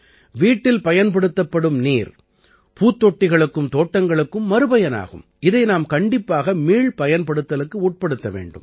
வீட்டில் பயன்படுத்தப்படும் நீர் பூத்தொட்டிகளுக்கும் தோட்டங்களுக்கும் மறுபயனாகும் இதை நாம் கண்டிப்பாக மீள்பயன்படுத்தலுக்கு உட்படுத்த வேண்டும்